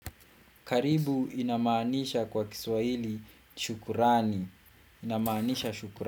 Karibu inaamanisha kwa kiswaili shukurani. Inamaanisha shukurani.